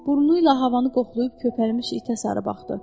Burnula havanı qoxlayıb köpərmiş itə sarı baxdı.